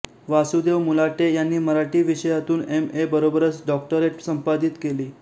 वासुदेव मुलाटे यांनी मराठी विषयातून M A बरोबरच डॉक्टरेट संपादित केली